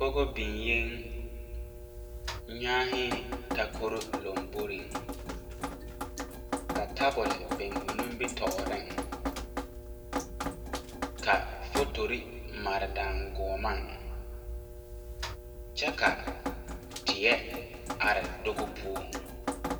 pɔge ziŋ la takoroo laŋboreŋ kyɛ ka tabol biŋ o nimitɔɔreŋ. Fotore mare la daŋkyine puo kyɛ ka teɛ be doge Puo.